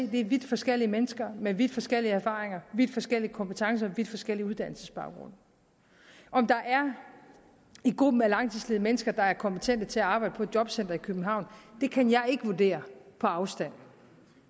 det er vidt forskellige mennesker med vidt forskellige erfaringer vidt forskellige kompetencer vidt forskellige uddannelsesbaggrunde om der i gruppen af langtidsledige er mennesker der er kompetente til at arbejde på et jobcenter i københavn kan jeg ikke vurdere på afstand